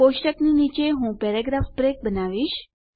કોષ્ટકની નીચે હું paragraph break બનાવીશ